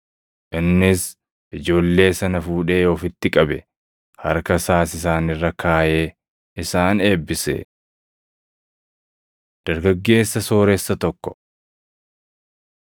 Innis ijoollee sana fuudhee ofitti qabe; harka isaas isaan irra kaaʼee isaan eebbise. Dargaggeessa Sooressa Tokko 10:17‑31 kwf – Mat 19:16‑30; Luq 18:18‑30